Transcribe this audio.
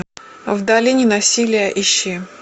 в долине насилия ищи